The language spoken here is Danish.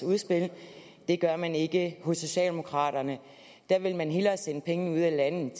udspil det gør man ikke hos socialdemokraterne der vil man hellere sende pengene ud af landet